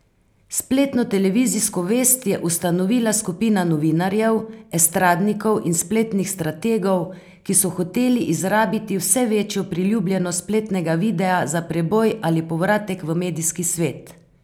Spletno televizijsko vest je ustanovila skupina novinarjev, estradnikov in spletnih strategov, ki so hoteli izrabiti vse večjo priljubljenost spletnega videa za preboj ali povratek v medijski svet.